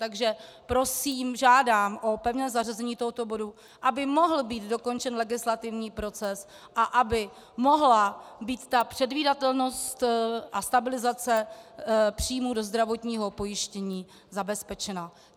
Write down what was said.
Takže prosím, žádám o pevné zařazení tohoto bodu, aby mohl být dokončen legislativní proces a aby mohla být ta předvídatelnost a stabilizace příjmů do zdravotního pojištění zabezpečena.